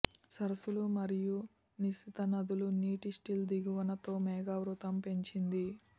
సరస్సులు మరియు నిశిత నదులు నీటి సిల్ట్ దిగువన తో మేఘావృతం పెంచింది